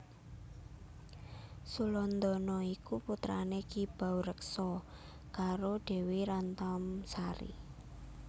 Sulandana iku putrane Ki Baureksa karo Dewi Rantamsari